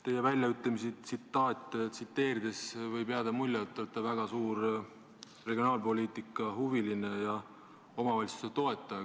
Teie väljaütlemisi tsiteerides võib jääda mulje, et te olete väga suur regionaalpoliitikahuviline ja omavalitsuste toetaja.